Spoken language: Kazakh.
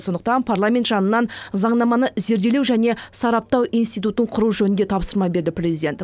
сондықтан парламент жанынан заңнаманы зерделеу және сараптау институтын құру жөнінде тапсырма берді президент